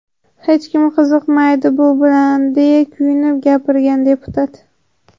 Hech kim qiziqmaydi bu bilan”, deya kuyinib gapirgan deputat.